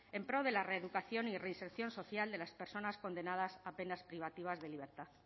en pro de la reeducación y reinserción social de las personas condenadas a penas privativas de libertad